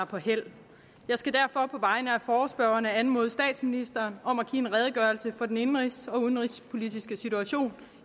på hæld jeg skal derfor på vegne af forespørgerne anmode statsministeren om at give en redegørelse for den indenrigs og udenrigspolitiske situation